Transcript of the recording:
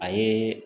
A ye